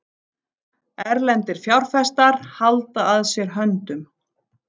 Erlendir fjárfestar halda að sér höndum